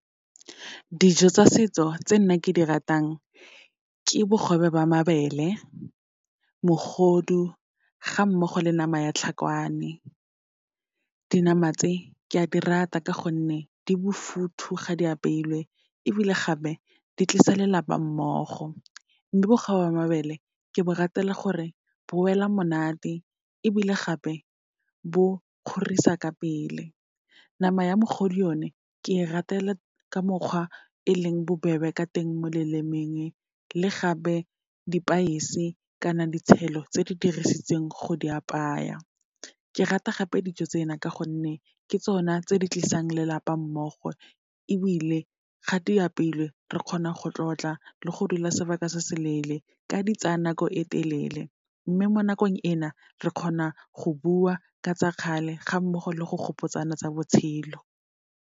Dijo tsa setso tse nna ke di ratang, ke bogobe jwa mabele, mogodu, ga mmogo le nama ya tlhakwane. Dinama tse, ke a di rata ka gonne, di bofuthu ga di apeilwe, ebile gape di tlisa lelapa mmogo. Mme bogobe ba mabele, ke bo ratela gore bo wela monate, ebile gape bo kgorisa ka pele. Nama ya mogodu yone, ke e ratela ka mokgwa e leng bobebe ka teng mo lelemeng, le gape di-spice-e kana ditshelo tse di dirisitsweng go di apaya. Ke rata gape dijo tsena, ka gonne ke tsona tse di tlisang lelapa mmogo ebile ga di apeilwe re kgona go tlotla le go dula sebaka se seleele, ka di tsaya nako e telele, mme mo nakong ena re kgona go bua ka tsa kgale, ga mmogo le go gopotsana tsa botshelo.